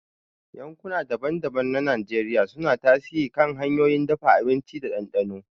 Yankuna daban-daban na Najeriya suna tasiri kan hanyoyin dafa abinci da dandano.